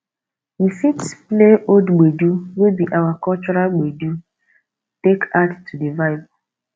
we fit play old gbedu wey be our cultural gbeedu take add to di vibe